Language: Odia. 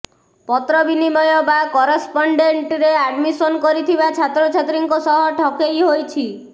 ପତ୍ରବିନିମୟ ବା କରସ୍ପଣ୍ଡେଣ୍ଟରେ ଆଡମିଶନ୍ କରିଥିବା ଛାତ୍ରଛାତ୍ରୀଙ୍କ ସହ ଠକେଇ ହୋଇଛି